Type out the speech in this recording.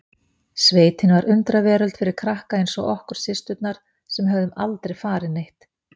Sveitin var undraveröld fyrir krakka eins og okkur systurnar sem höfðum aldrei farið neitt.